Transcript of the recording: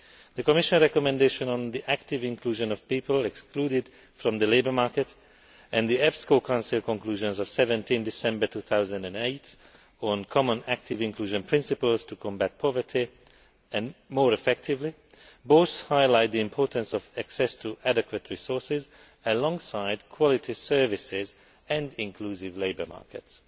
The Commission recommendation on the active inclusion of people excluded from the labour market and the EPSCO Council Conclusions of 17 December 2008 on common active inclusion principles to combat poverty more effectively both highlight the importance of access to adequate resources, alongside quality services and inclusive labour markets.